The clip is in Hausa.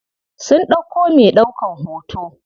Sun ɗauko me ɗaukan hoto.